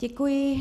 Děkuji.